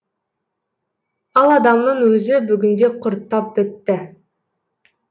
ал адамның өзі бүгінде құрттап бітті